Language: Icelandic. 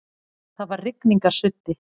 Það var rigningarsuddi.